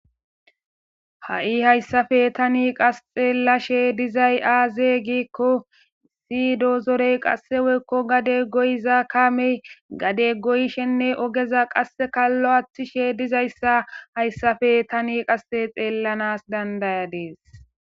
Ha'i hayssape tani qasxe lashe dizay aaze giikko sidozorey qasse woykko gade goyiza kaamey gade goyshenne ogeza qasse lo aaththishe dizayssa hayssape tani qasse xeellanas dandaya dees.